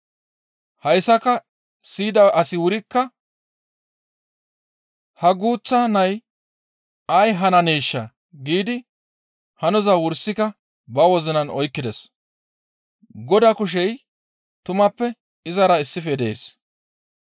Hayssaka siyida asi wurikka, «Ha guuththa nay ay hananeeshaa?» giidi hanoza wursika ba wozinan oykkides; Godaa kushey tumappe izara issife dees.